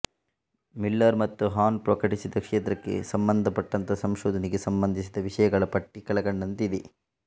Miller ಮತ್ತು Hahn ಪ್ರಕಟಿಸಿದ ಕ್ಷೇತ್ರಕ್ಕೆ ಸಂಬಂಧಪಟ್ಟಂತಹ ಸಂಶೋಧನೆಗೆ ಸಂಬಂಧಿಸಿದ ವಿಷಯಗಳ ಪಟ್ಟಿ ಕೆಳಕಂಡಂತೆ ಇದೆ